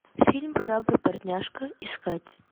фильм храбрый портняжка искать